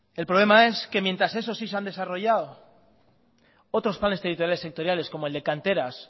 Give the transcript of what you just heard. el problema es que mientras esos sí han desarrollado otros planes territoriales sectoriales como el de canteras